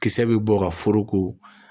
Kisɛ bɛ bɔ ka foroko